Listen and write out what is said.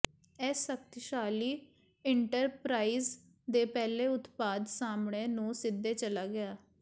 ਇਸ ਸ਼ਕਤੀਸ਼ਾਲੀ ਇੰਟਰਪਰਾਈਜ਼ ਦੇ ਪਹਿਲੇ ਉਤਪਾਦ ਸਾਹਮਣੇ ਨੂੰ ਸਿੱਧੇ ਚਲਾ ਗਿਆ